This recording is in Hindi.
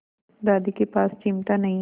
दादी के पास चिमटा नहीं है